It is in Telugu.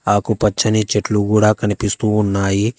ఆకుపచ్చని చెట్లు కూడా కనిపిస్తూ ఉన్నాయి.